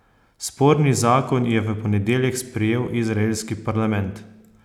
Sporni zakon je v ponedeljek sprejel izraelski parlament.